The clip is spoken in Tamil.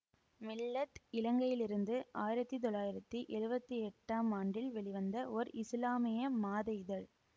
மில்ல இலங்கையிலிருந்து ஆயிரத்தி தொள்ளாயிரத்தி எழுவத்தி எட்டாம் ஆண்டில் வெளிவந்த ஒர் இசுலாமிய மாத இதழ்